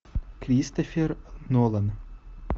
кристофер нолан